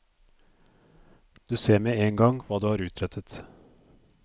Du ser med en gang hva du har utrettet.